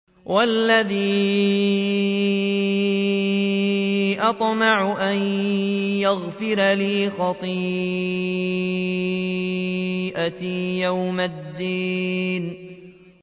وَالَّذِي أَطْمَعُ أَن يَغْفِرَ لِي خَطِيئَتِي يَوْمَ الدِّينِ